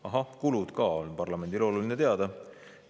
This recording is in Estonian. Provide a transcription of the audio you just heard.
Ahah, kulud ka on parlamendile oluline teada.